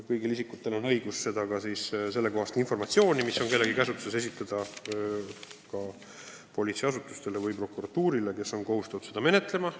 Kõigil isikutel on õigus anda sellekohane informatsioon edasi politseiasutusele või prokuratuurile, kes on kohustatud seda menetlema.